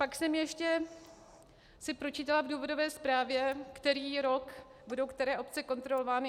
Pak jsem si ještě pročítala v důvodové zprávě, který rok budou které obce kontrolovány.